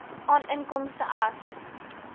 aan inkomste as